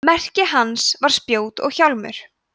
merki hans var spjót og hjálmur